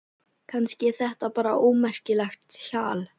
Kannski er þetta bara ómerkilegt hjal.